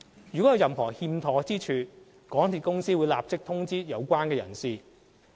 如有任何欠妥之處，港鐵公司會立即通知有關人士。